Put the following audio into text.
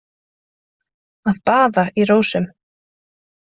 Að baða í rósum